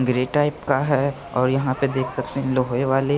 grey type का है और यहां पे देख सकते हैं लोहे वाले--